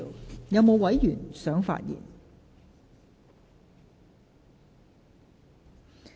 是否有委員想發言？